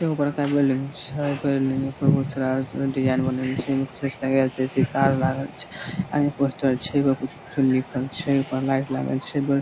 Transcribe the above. एगो बड़का बिल्डिंग छै बिल्डिंग के ऊपर बहुत सारा डिजाइन बनल छै ए में कुछो से लगाल छै सीसा आर लागल छै ए पोस्टर छै ओय पर कुछू-कुछू लिखल छै ओय पर लाइट लागल छै बिल --